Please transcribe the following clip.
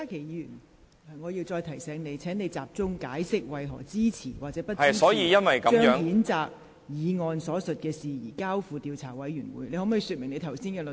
郭家麒議員，我再提醒你，請集中解釋你為何支持或不支持將譴責議案所述的事宜，交付調查委員會處理。